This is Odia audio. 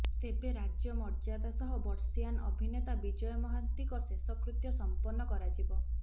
ତେବେ ରାଜ୍ୟ ମର୍ଯ୍ୟାଦା ସହ ବର୍ଷୀୟାନ ଅଭିନେତା ବିଜୟ ମହାନ୍ତିଙ୍କ ଶେଷକୃତ୍ୟ ସମ୍ପନ୍ନ କରାଯିବ